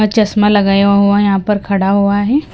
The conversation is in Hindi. चश्मा लगाया हुआ है यहाँ पर खड़ा हुआ है।